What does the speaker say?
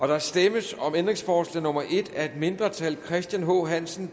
der stemmes om ændringsforslag nummer en af et mindretal